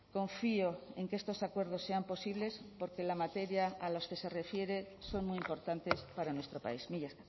confío en que estos acuerdos sean posibles porque la materia a los que se refiere son muy importantes para nuestro país mila